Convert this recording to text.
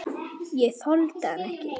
Ég þoldi hann ekki.